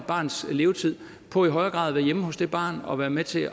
barns levetid på i højere grad at være hjemme hos det barn og være med til